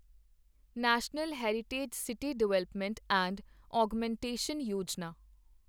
national heritage city development and augmentation Yojana